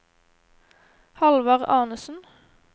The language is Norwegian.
Hallvard Arnesen